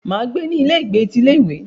Máa gbé ní ilé ìgbé ti ilé ìwé.